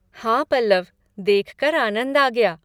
हाँ पल्लव! देखकर आनंद आ गया।